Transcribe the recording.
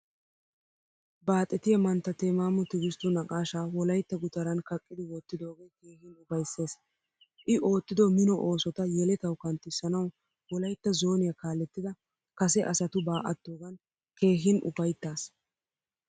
Baaxettiya mantta temamo tigistu naaqashsha wolaytta gutaran kaaqidi wottidoge keehin ufayssees. I oottido mino oosotta yelettawu kanttisanawu wolaytta zoniyaa kaalettida kase asatuba attogan keehin ufayttaas.